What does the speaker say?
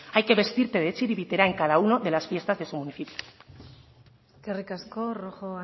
hay que vestirte de txilibitera en cada uno de las fiestas de su municipio eskerrik asko rojo